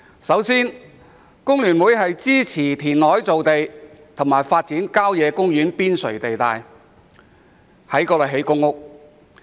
首先，工聯會支持填海造地及發展郊野公園邊陲地帶作興建房屋用途。